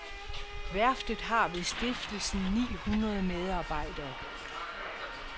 Værftet har ved stiftelsen ni hundrede medarbejdere.